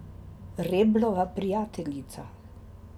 Reblova prijateljica.